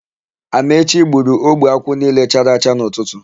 Amaechi gburu ogbe akwụ niile chara acha n'ụtụtụ.